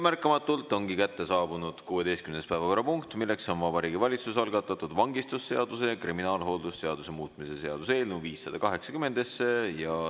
Märkamatult on kätte jõudnud 16. päevakorrapunkt: Vabariigi Valitsuse algatatud vangistusseaduse ja kriminaalhooldusseaduse muutmise seaduse eelnõu 580.